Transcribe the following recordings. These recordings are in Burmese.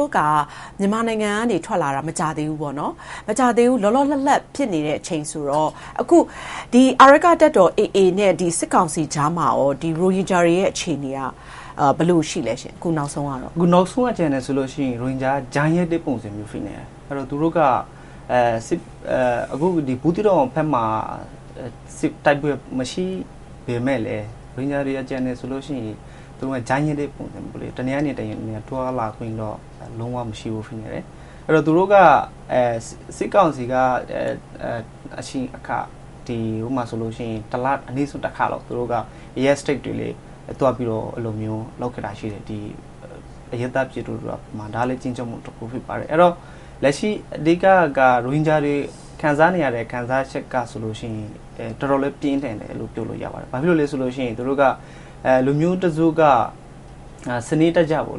ိုးက မြန်မာနိုင်ငံက ထွက်လာခဲ့တာ မကြာသေးဘူးပေါ့။ လောလောလတ်လတ် ဖြစ်နေတဲ့အချိန်ဆိုတော့ အခု အာရက္ခတပ်တော် နဲ့ စစ်ကောင်စီကြားမှာ ရိုဟင်ဂျာတွေရဲ့ အခုနောက်ဆုံး အခြေအနေက ဘယ်လိုရှိပါသလဲရှင့်။ ကိုဇာနည်စိုး ။ ။ အခုနောက်ဆုံးအခြေအနေကတော့ ရိုဟင်ဂျာတွေက ကြားညှပ်တဲ့ပုံစံ ဖြစ်နေတယ်။ သူတို့က အခု ဘူးသီးတောင်ဘက်မှာ တိုက်ပွဲတွေ မရှိပေမဲ့လည်း ရိုဟင်ဂျာတွေ ကျန်နေသေးတယ်ဆိုရင် သူတို့က ကြားညှပ်တဲ့ပုံစံမျိုး - တနေရာနဲ့တနေရာ သွားလာခွင့်တော့ လုံးဝမရှိဘူး။ စစ်ကောင်စီက တစ်လတစ်ခါလောက် အဲဒီနေရာတွေ သွားစစ်တာတွေ ရှိတယ်။ ဒါကလည်း အရပ်သားပြည်သူတွေကို ခြိမ်းခြောက်တာမျိုး ဖြစ်တယ်။ လက်ရှိ အဓိကက ရိုဟင်ဂျာတွေ ခံစားနေရတဲ့ ခံစားချက်က တော်တော်လေး ပြင်းထန်တယ်လို့ ပြောလို့ရပါတယ်။ ဘာကြောင့်လဲဆိုတော့ လူမျိုးတစုက စနစ်တကျ ခွဲ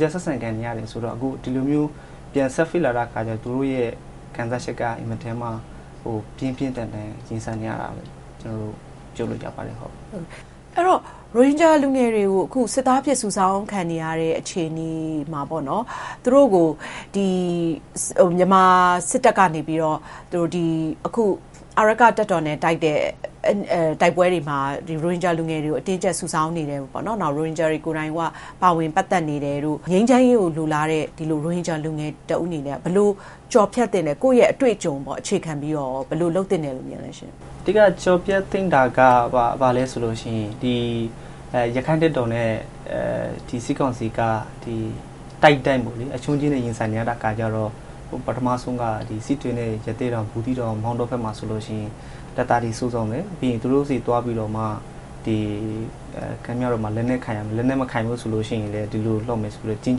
ခြားဆက်ဆံခံနေရတယ်ဆိုတော့ အခု ဒီလိုမျိုး ပြန်ဆက်ဖိလာတဲ့အခါကြတော့ သူတို့ရဲ့ ခံစားချက်က မထင်မှတ်လောက်ဘဲ ပြင်းပြင်းထန်ထန် ရင်ဆိုင်နေရပါတယ်လို့ ပြောလို့ရပါတယ်။ မေး ။ ။ အဲဒီတော့ ရိုဟင်ဂျာ လူငယ်တွေကို အခု စစ်သားအဖြစ် စုဆောင်းခံနေရတဲ့ အခြေအနေမှာ သူတို့ကို မြန်မာစစ်တပ်ကနေ အာရက္ခတပ်တော် တပ်နဲ့ တိုက်နေတဲ့ တိုက်ပွဲတွေမှာ ရိုဟင်ဂျာလူငယ်တွေကို အတင်းအကျပ် စုဆောင်းနေတယ်။ ငြိမ်းချမ်းရေးကို လိုလားနေတဲ့ ကိုဇာနည်စိုးလို လူငယ်တဦးအနေနဲ့ ဘယ်လို နေထိုင်ကျော်ဖြတ်သင့်သလဲ။ ကိုယ့်ရဲ့အတွေ့အကြုံကို အခြေခံပြီးတော့ ဘယ်လိုလုပ်သင့်တယ်လို့ မြင်ပါသလဲရှင့်။ ဖြေ ။ ။ အဓိကကျော်ဖြတ်သင့်တာက ဘာလဲဆိုရင် ရခိုင့်တပ်တော်နဲ့ စစ်ကောင်စီက တိုက်တိုင်း အရှုံးချည်း ရင်ဆိုင်နေရတဲ့ အခါကြတော့ ပထမဆုံးက စစ်တွေနဲ့ ရသေ့တောင်၊ ဘူးသီးတောင်၊ မောင်းတောတို့ဘက်မှာဆိုရင် တပ်သားတွေ စုဆောင်းမယ်။ ပြီးရင် သူတို့ဆီသွားပြီးတော့မှ လက်နက်ကိုင်ရမယ်။ လက်နက်မကိုင်ရင် ဒီလိုလုပ်မယ်ဆိုပြီးတော့ ခြိမ်း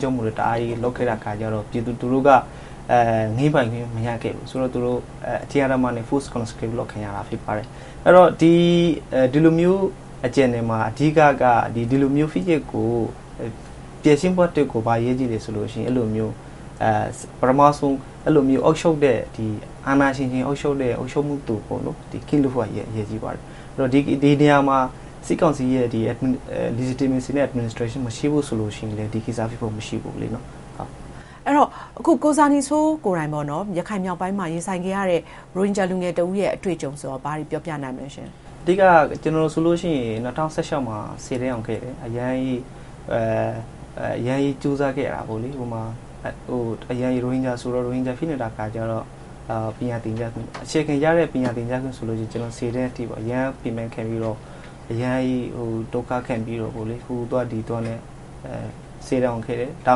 ခြောက်မှု့တွေ တအားကြီးလုပ်ခဲ့တာဆိုတော့ ပြည်သူလူထုက ငြင်းပိုင်ခွင့် မရခဲ့ဘူး။ သူတို့ အတင်းအဓ္ဓမနဲ့ Force Conscript လုပ်ခံရတာ ဖြစ်ပါတယ်။ အဲဒီတော့ ဒီလိုမျိုးအခြေအနေမှာ အဓိကက ဒီလိုမျိုး ဖိနှိပ်မှုကို ဖြေရှင်းဖို့က ဘာအရေးကြီးလဲဆိုတော့ ပထမဆုံး အာဏာရှင်တွေ အုပ်ချုပ်တဲ့ အုပ်ချုပ်သူ.... အရေးကြီးပါတယ်။ ဒီနေရာမှာ စစ်ကောင်စီရဲ့ Legitmacy and Administration မရှိဘူးဆိုရင် ဒီကိစ္စကဖြစ်ဖို့ မရှိဘူး။ မေး ။ ။ အဲဒီတော့ ကိုဇာနည်စိုးကိုယ်တိုင် ရခိုင်မြောက်ပိုင်းမှာ ရင်ဆိုင်နေရတဲ့ ရိုဟင်ဂျာလူငယ်တဦးရဲ့ အတွေ့အကြုံဆိုရင် ဘာတွေပြောပြနိုင်မလဲရှင့်။ ဖြေ ။ ။ အဓိကက ကျနော်ဆိုရင် မှာ ဆယ်တန်းအောင်ခဲ့တယ်။ အရမ်းကြီးကြိုးစားခဲ့တာပေါ့။ ရိုဟင်ဂျာဆိုတော့ ရိုဟင်ဂျာကို ဖိနှိပ်ခံရတဲ့အခါကြတော့ အခြေခံရတဲ့ ပညာသင်ကြားခွင့်ဆိုရင် ဆယ်တန်းအထိ အရမ်းပင်ပန်းခံပြီးတော့ အရမ်းဒုက္ခခံပြီးတော့ ဟိုသွားဒီသွားနဲ့ ဆယ်တန်းအောင်ခဲ့တယ်။ ဒါ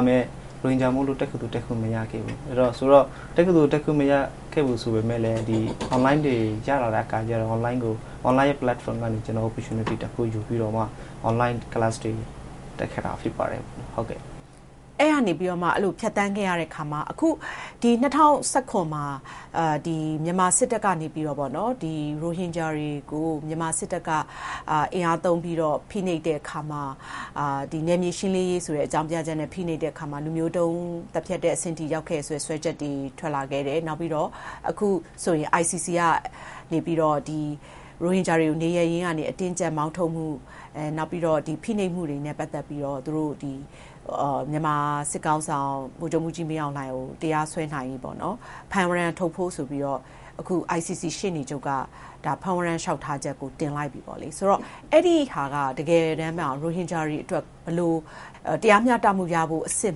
ပေမဲ့ ရိုဟင်ဂျာမို့လို့ တက္ကသိုလ်တက်ခွင့် မရခဲ့ဘူး။ တက္ကသိုလ်တက်ခွင့် မရခဲ့ဖူးဆိုပေမယ့် Online တွေ ရလာတဲ့အခါကြတာ့ Online Platform ကနေ Opportunity တခုယူပြီးတော့မှ Online Class တွေတက်ခဲ့တာ ဖြစ်ပါတယ်။ မေး ။ ။ အဲဒီကနေပြီးမှ ဖြတ်သန်းခဲ့ရတဲ့အခါမှာ အခု မှာ မြန်မာစစ်တပ်ကနေပြီးတော့ ရိုဟင်ဂျာတွေကို မြန်မာစစ်တပ်က အင်အားသုံးပြီးတော့ ဖိနှိပ်တဲ့အခါမှာ နယ်မြေရှင်းလင်းရေးဆိုတဲ့ အကြောင်းပြချက်နဲ့ ဖိနှိပ်တဲ့အခါမှာ လူမျိုးတုံးသတ်ဖြတ်တဲ့အဆင့်ထိ ရောက်ခဲ့တယ်ဆိုပြီး စွဲချက်တွေ ထွက်ခဲ့တယ်။ နောက်ပြီးတော့ အခုဆိုရင် ICC ကနေပြီးတော့ ရိုဟင်ဂျာတွေကို နေရပ်ရင်းကနေ အတင်းအကျပ်မောင်းထုတ်မှု့၊ နောက်ပြီးရင် ဖိနှိပ်မှုတွေနဲ့ ပတ်သက်ပြီးတော့ မြန်မာစစ်ကောင်စီခေါင်းဆောင် ဗိုလ်ချုပ်မှူးကြီးမင်းအောင်လှိုင်ကို တရားစွဲနိုင်ရေး ဖမ်းဝရံထုတ်ဖို့ဆိုပြီး ICC ရှေ့နေချုပ်က ဖမ်းဝရံလျှောက်ထားချက်ကို တင်လိုက်ပြီ။ အဲ့ဒါက တကယ်တမ်းမှာ ရိုဟင်ဂျာတွေအတွက်ကို ဘယ်လို တရားမျှတမှုရဖို့အဆင့်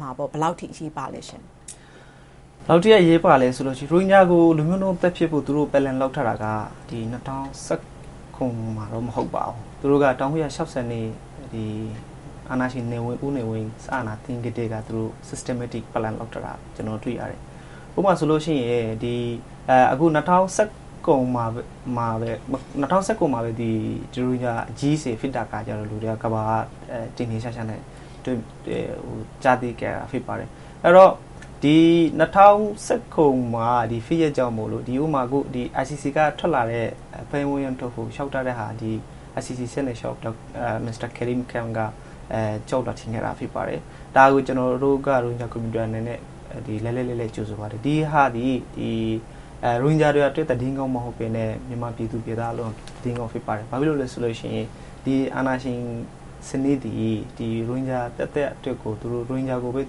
မှာ ဘယ်လောက်ထိ အရေးပါလဲရှင့်။ ဖြေ ။ ။ ဘယ်လောက်ထိ အရေးပါလဲဆိုရင် ရိုဟင်ဂျာကို လူမျိုးတုံးသတ်ဖြတ်ဖို့ သူတို့ Plan လုပ်ထားတာက ၂၀၁၇ မှာတော့ မဟုတ်ပါဘူး။ သူတို့က ၁၉၆၂ အာဏာရှင် ဦးနေဝင်း စစ်အာဏာသိမ်းကတည်းက Systematic Plan လုပ်ထားတာကို ကျနော် တွေ့ရတယ်။ ဥပမာဆိုလို့ရှိရင် ၂၀၁၇ မှာပဲ ရိုဟင်ဂျာအရေးဖြစ်တော့ ကမ္ဘာက ထင်ထင်ရှားရှားနဲ့ ကြားသိခဲ့ရတာ ဖြစ်ပါတယ်။ အဲဒီတော့ ၂၀၁၇ ဖြစ်ရပ်ကြောင်းမို့ ICC ကထွက်လာတဲ့ ဖမ်းဝရံအတွက်ကို လျှောက်ထားတာက ဒီ ICC ကနေ Mr. Karim Khan က လျှောက်လွှာတင်ခဲ့တာ ဖြစ်ပါတယ်။ ဒါကို ကျနော်တို့ ရိုဟင်ဂျာ Community က လှိုက်လှိုက်လှဲလှဲ ကြိုဆိုပါတယ်။ ဒီဟာသည် ရိုဟင်ဂျာတွေအတွက် သတင်းကောင်းမဟုတ်ဘဲနဲ့ မြန်မာပြည်သူပြည်သားအားလုံးအတွက်လည်း သတင်းကောင်း ဖြစ်ပါတယ်။ ဘာဖြစ်လို့လဲဆိုရင် ဒီအာဏာရှင်စနစ်သည် ရိုဟင်ဂျာ သက်သက်အတွက်ကို ရိုဟင်ဂျာကိုပဲ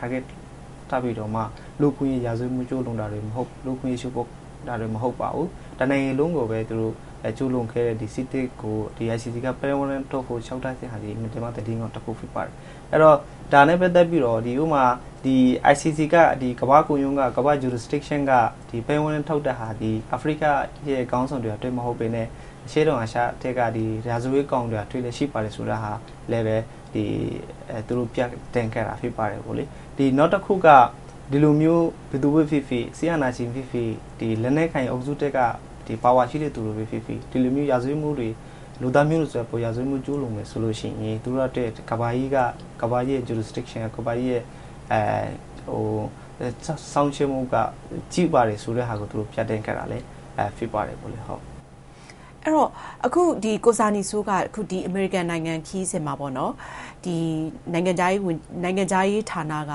Target ထားပြီးတော့မှ လူ့အခွင့်အရေး ရာဇဝတ်မှု ကျူးလွန်တာတွေကို၊ လူ့အခွင့်အရေး ချိုးဖောက်တာတွေ မဟုတ်ပါဘူး။ တနိုင်ငံလုံးကိုပဲ ကျူးလွန်းခဲ့တဲ့ စစ်တပ်ကို ICC က ဖမ်းဝရံထုတ်ဖို့ လျှောက်ထားတာက သတင်းကောင်းတခု ဖြစ်ပါတယ်။ အဲဒီတော့ ဒါနဲ့ပတ်သက်ပြီးတာ့ ICC က ကမ္ဘာ့ခုံရုံးက ဒီ ဖမ်းဝရံထုတ်တာသည် အာဖရိကခေါင်းဆောင်တွေပဲ မဟုတ်ဘဲနဲ့ အရှေ့တောင်အာရှထဲက ရာဇဝတ်ကောင်တွေလည်း ရှိပါတယ် ဆိုတာဟာလည်းပဲ သူတို့ ပြသခဲ့တာ ဖြစ်ပါတယ်။ နောက်တခုက ဒီလိုမျိုး ဘယ်သူပဲဖြစ်ဖြစ်၊ စစ်အာဏာရှင်ဖြစ်ဖြစ်၊ လက်နက်ကိုင်အုပ်စုထဲက ပါဝါရှိတဲ့သူပဲဖြစ်ဖြစ် ဒီလိုမျိုး ရာဇဝတ်မှုတွေ၊ လူသားမျိုးနွယ် ရာဇဝတ်မှု ကျူးလွန်မယ်ဆိုရင် သူတို့အတွက် ကမ္ဘာကြီးရဲ့ jurisdiction စောင့်ကြည့်နေပါတယ်ဆိုတာကို ပြသခဲ့တာ ဖြစ်ပါတယ်။ မေး ။ ။ အဲဒီတော့ အခု ကိုဇာနည်စိုးက အမေရိကန်နိုင်ငံခရီးစဥ်မှာ နိုင်ငံခြားရေးဌာနက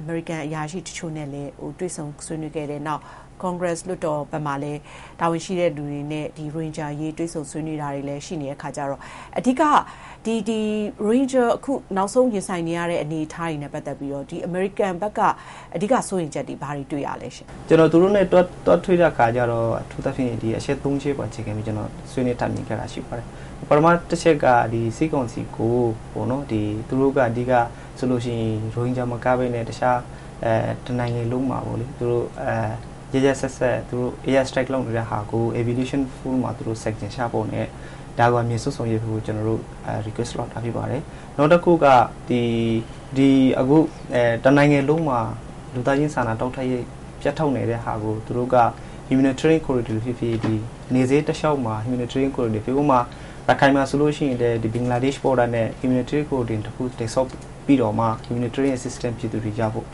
အမေရိကန်အရာရှိတချို့နဲ့လည်း တွေ့ဆုံဆွေးနွေးခဲ့တယ်။ နောက် Congress လွှတ်တော်ဘက်မှာလည်း တာဝန်ရှိတဲ့သူတွေနဲ့ ရိုဟင်ဂျာအရေး တွေ့ဆုံဆွေးနွေးတာတွေလည်း ရှိနေတဲ့အခါကြတော့ အဓိက ရိုဟင်ဂျာတွေ နောက်ဆုံး ရင်ဆိုင်နေရတဲ့ အနေအထားတွေနဲ့ ပတ်သက်ပြီးတော့ အမေရိကန်ဘက်က အဓိက စိုးရိမ်ချက်သည် ဘာတွေတွေ့ရလဲ။ ဖြေ ။ ။ ကျနော် သူတို့နဲ့ သွားတွေ့တဲ့အခါကြတော့ အထူးသဖြင့် အချက် ချက်ပေါ် အခြေခံပြီး ဆွေးနွေးတိုင်ပင်ခဲ့တာ ရှိပါတယ်။ ပထမတချက်က စစ်ကောင်စီကို သူတို့ဘက်က အဓိက ရိုဟင်ဂျာမကဘဲနဲ့ အခြားတနိုင်ငံလုံးမှာ ရက်ရက်စက်စက် Air Strike လုပ်နေတာကို Resolution နဲ့ Sanction ချဖို့ကို အမြန်ဆုံးဆောင်ရွက်ပေးဖို့ ကျနော်တို့ တောင်းဆိုခဲ့ပါတယ်။ နောက်တခုက အခု တနိုင်ငံလုံးမှာ လူသားချင်းစာနာမှု ထောက်ပံ့ပေးမှု ပြတ်တောက်နေတဲ့ဟာကို သူတို့က Humanitarian Corridor ဖြစ်ဖြစ် နယ်စပ်တလျှောက်မှာ - ရခိုင်မှာဆိုရင် ဘင်္ဂလားဒေ့ရှ် အကူအညီနဲ့ Humanitarian Corridor တခု တည်ဆောက်ပြီးတော့မှာ Humanitarian assistance ပြည်သူတွေရဖို့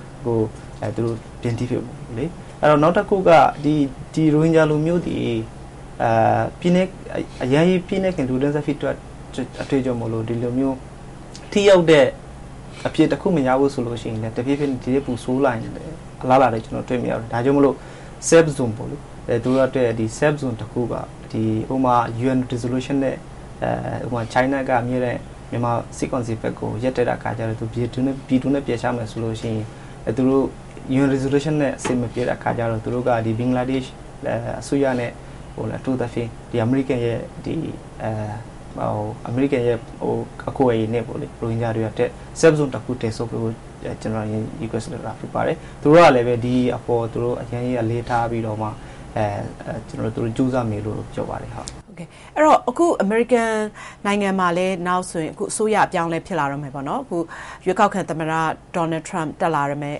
။ နောက်တခုက ရိုဟင်ဂျာလူမျိုးသည် အရမ်းကြီး ဖိနှိပ်ခံလူတန်းစား ဖြစ်တဲ့အတွက်ကြောင့် ဒီလိုမျိုး ထိရောက်တဲ့ အဖြေတခုမရဘူးဆိုရင် တဖြည်းဖြည်း ဒီထက်ပိုဆိုးတဲ့ အလားအလာကို ကျနော် တွေ့မြင်ရတယ်။ ဒါကြောင့်မို့ လိုအပ်တဲ့ Safe Zone တခု - ဥပမာ UN Resolution နဲ့ China က အမြဲတမ်း မြန်မာစစ်ကောင်စီဘက်ကို ရပ်တဲ့အခါကြတော့ ပြည်တွင်းကို ပြန်ပို့မယ်ဆိုရင် သူတို့ UN Resolution နဲ့ အဆင်မပြေတဲ့အခါကြတော့ သူတို့က ဘင်္ဂလားဒေ့ရှ်အစိုးရနဲ့ အထူးသဖြင့် အမေရိကန်ရဲ့ အကူအညီနဲ့ပေါ့လေ ရိုဟင်ဂျာတွေအတွက် Safe Zone တခု တည်ဆောက်ပေးဖို့ ကျနော် Request လုပ်တာ ဖြစ်ပါတယ်။ သူတို့ကလည်း ဒီအပေါ်ကို အရမ်းကြီးအလေးထားပြီးတော့မှ သူတို့ ကြိုးစားမယ်လို့ ပြောပါတယ်။ မေး ။ ။ အဲဒီတော့ အခု အမေရိကန်နိုင်ငံမှာလည်း နောက်ဆို အစိုးရအပြောင်းအလဲ ဖြစ်လာတော့မယ်။ ရွေးကောက်ခံသမ္မတ ဒေါ်နယ်ထရန့် တက်လာမယ့်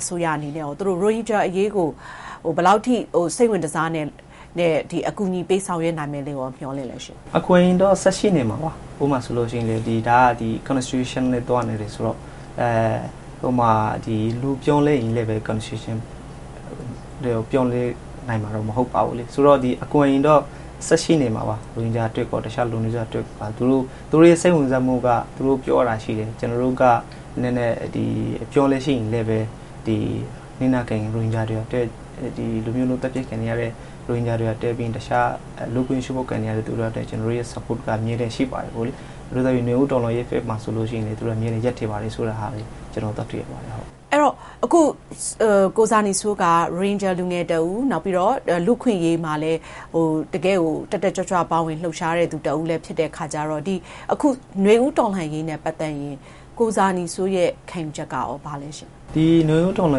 အစိုးရအနေနဲ့ကော သူတို့ ရိုဟင်ဂျာအရေးကို ဘယ်လောက်ထိ စိတ်ဝင်တစားနဲ့ အကူအညီ ပေးဆောင်ရွက်နိုင်မယ်လို့ မျှော်လင့်လဲရှင့်။ ဖြေ ။ ။ အကူအညီတွေကတော့ ဆက်ရှိနေမှာပါ။ ဥပမာအနေနဲ့ဆိုရင် Constitution နဲ့ သွားနေတယ်ဆိုတော့ လူအပြောင်းအလဲပေမယ့် Constitution ပြောင်းလဲနိုင်မှာတော့ မဟုတ်ပါဘူး။ ဆိုတော့ အကူအညီတော့ ဆက်ရှိနေမှာပါ ရိုဟင်ဂျာအတွက်ကော အခြားလူနည်းစုတွေအတွက်ကော။ သူတို့ရဲ့ စိတ်ဝင်စားမှုက သူတို့ ပြောသွားတာရှိတယ်။ “ကျနော်တို့က အပြောင်းအလဲရှိရင်လည်းပဲ၊ ဒီလို လူမျိုးတုံး သတ်ဖြတ်ခံနေရတဲ့ ရိုဟင်ဂျာတွေအတွက်၊ ပြီးရင် အခြား လူ့အခွင့်အရေး ချိုးဖောက်ခံနေရတဲ့သူတွေအတွက် ကျနော်တို့ရဲ့ Support က အမြဲတမ်းရှိနေပါတယ်” - နွေဦးတော်လှန်ရေးဘက်မှာ ဆိုရင်လည်း သူတို့က အမြဲတမ်း ရပ်တည်ပါတယ်ဆိုတာကို တွေ့ရပါတယ်။ မေး ။ ။ အဲဒီတော့ အခု ကိုဇာနည်စိုးက ရိုဟင်ဂျာလူငယ်တဦး၊ လူ့အခွင့်အရေးမှာလည်း တကယ့်ကို တက်တက်ကြွကြွ ပါဝင်လှုပ်ရှားတဲ့သူလည်း ဖြစ်တဲ့အတွက်ကြောင့် အခု နွေဦးတော်လှန်ရေးနဲ့ ပတ်သက်ရင် ကိုဇာနည်စိုးရဲ့ ခံယူချက်ကကော ဘာလဲရှင့်။ ဖြေ ။ ။ ဒီနွေဦးတော်လှ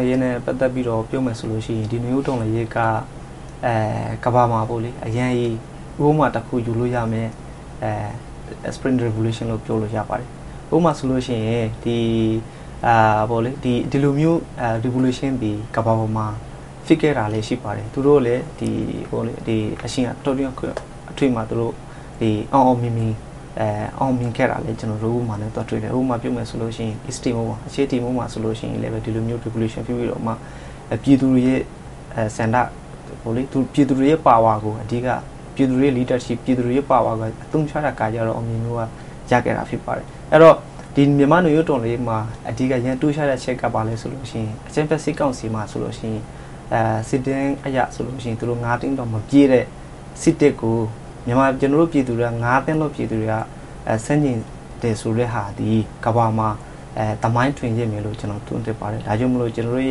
န်ရေးနဲ့ ပတ်သက်ပြီး ပြောမယ်ဆိုရင် ဒီနွေဦးတော်လှန်ရေးက ကမ္ဘာမှာ ဥပမာတခု ယူလို့ရမယ့် Spring Revolution လို့ ပြောလို့ရပါတယ်။ ဥပမာဆိုလို့ရှိရင် ဒီလိုမျိုး Revolution သည် ကမ္ဘာပေါ်မှာ ဖြစ်ခဲ့တာလည်း ရှိပါတယ်။ သူတို့ အချိန်အတောအတွင်းတခုမှာ အောင်အောင်မြင်မြင် အောင်မြင်ခဲ့တာလည်း ကျနော်တို သွားတွေ့ရပါတယ်။ ဥပမာပြောမယ်ဆိုရင် East Timor အရှေ့တီမောမှာ ဆိုရင်လည်း ဒီလိုမျိုး Revolution ဖြစ်ပြီးတော့မှ ပြည်သူတွေရဲ့ ဆန္ဒ၊ ပြည်သူတွေရဲ့အာဏာကို အဓိက ပြည်သူတွေရဲ့ leadership ကို အသုံးချခဲ့တာကြောင့် အောင်မြင်မှုရခဲ့တာ ဖြစ်ပါတယ်။ မြန်မာ့နွေဦးတော်လှန်ရေးမှာလည်း အဓိကထူးခြားတဲ့အချက်က ဘာလဲဆိုတော့ အကြမ်းဖက် စစ်ကောင်စီမှာဆိုရင် စစ်တမ်းအရဆိုရင် သူတို့ သိန်းတောင် မပြည့်တဲ့ စစ်တပ်ကို ကျနော်တို့ ပြည်သူတွေက သန်းလောက် ပြည်သူတွေက ဆန့်ကျင်တယ်ဆိုတဲ့ဟာသည် ကမ္ဘာမှာ သမိုင်းတွင်ခဲ့မယ်လို့ ကျနော် သုံးသပ်ပါတယ်။ ဒါကြောင့်မို့ ကျနော်တို့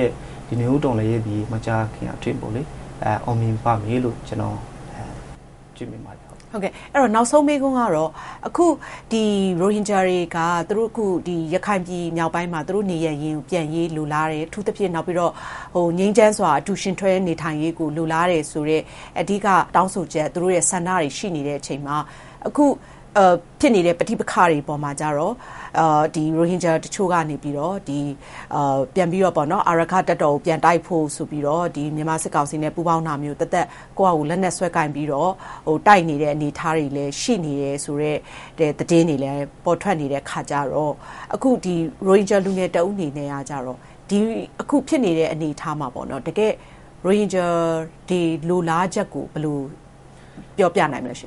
ရဲ့ နွေဦးတော်လှန်ရေးသည် မကြာခင်အတွင်း အောင်မြင်ပါမယ်လို့ ကျနော် တွေ့မြင်ပါတယ်။ မေး ။ ။ နောက်ဆုံးမေးခွန်းကတော့ အခု ရိုဟင်ဂျာတွေက ရခိုင်ပြည်မြောက်ပိုင်းမှာ သူတို့နေရပ်ကိုပြန်ရေးကို လိုလားတယ်။ အထူးသဖြင့် နောက်ပြီးတော့ ငြိမ်းချမ်းစွာ အတူယဉ်တွဲနေထိုင်ရေးကို လိုလားတယ်ဆိုတဲ့ အဓိက တောင်းဆိုချက် ဆန္ဒတွေ ရှိနေတဲ့အချိန်မှာ အခုဖြစ်နေတဲ့ ပဋိပက္ခတွေပေါ်မှာ ရိုဟင်ဂျာတချို့က ပြန်ပြီးတော့ အာရက္ခတပ်တော်ကို ပြန်တိုက်ဖို့ဆိုပြီးတော့ မြန်မာစစ်ကောင်စီနဲ့ ပူးပေါင်းတာမျိုး၊ သီးသန့် ကိုယ်ဘာသာ လက်နက်ဆွဲကိုင်ပြီး တိုက်နေတဲ့ အနေအထားတွေ ရှိနေတယ်ဆိုတဲ့ သတင်းတွေလည်း ပေါ်ထွက်နေတဲ့အခါကြတော့ ရိုဟင်ဂျာလူငယ်တဦးအနေနဲ့ အခုဖြစ်နေတဲ့ အနေအထားမှာ ရိုဟင်ဂျာတွေရဲ့ တကယ့်လိုလားချက်ကို ဘယ်လိုပြောပြနိုင်မလဲရှင့်